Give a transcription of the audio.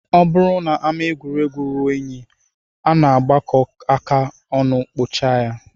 Ọ bụrụ na ama egwuregwu ruo unyi, a na-agbakọ aka ọnụ kpochaa ya